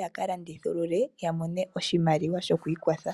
yaka landithulule ya mone mo oshimaliwa shokwiikwatha.